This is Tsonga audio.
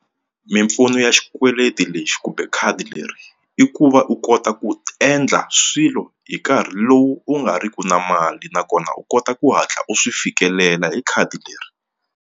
Mimpfuno ya xikweleti lexi kumbe khadi leri i ku va u kota ku endla swilo hi nkarhi lowu u nga ri ki na mali nakona u kota ku hatla u swi fikelela hi khadi leri.